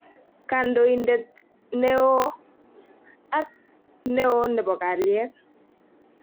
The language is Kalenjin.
"Kandoindet ne oo"ak "Ne oo nebo kalyet".